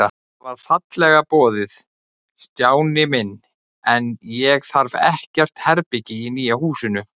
Það var fallega boðið, Stjáni minn, en ég þarf ekkert herbergi í nýja húsinu.